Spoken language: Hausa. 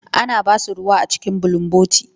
Ana ba su ruwa a cikin bulunboti.